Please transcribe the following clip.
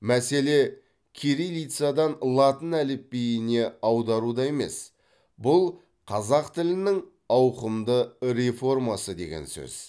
мәселе кириллицадан латын әліпбиіне аударуда емес бұл қазақ тілінің ауқымды реформасы деген сөз